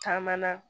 Caman na